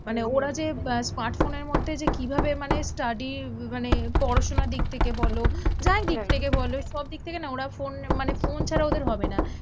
মানে ওরা যে আহ smartphone এর মধ্যে যে কিভাবে মানে study মানে পড়াশোনার দিক থেকে বলো যাই দিক থেকে বলো, সব দিক থেকে না ওরা ফোন মানে ফোন ছাড়া ওদের হবে না।